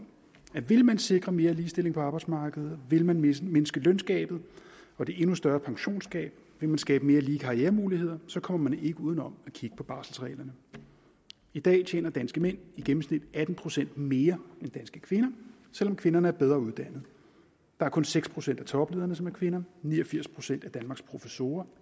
at vil man sikre mere ligestilling på arbejdsmarkedet vil man mindske mindske løngabet og det endnu større pensionsgab vil man skabe mere lige karrieremuligheder kommer man ikke uden om at kigge på barselsreglerne i dag tjener danske mænd i gennemsnit atten procent mere end danske kvinder selv om kvinderne er bedre uddannet der er kun seks procent af toplederne som er kvinder ni og firs procent af danmarks professorer